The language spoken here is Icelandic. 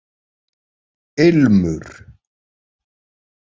Ilmur